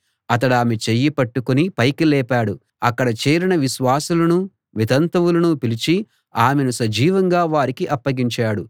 అతడామె చెయ్యి పట్టుకుని పైకి లేపాడు అక్కడ చేరిన విశ్వాసులనూ వితంతువులనూ పిలిచి ఆమెను సజీవంగా వారికి అప్పగించాడు